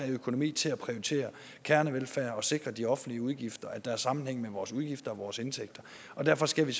økonomi til at prioritere kernevelfærd og sikre de offentlige udgifter at der er sammenhæng mellem vores udgifter og vores indtægter derfor skal vi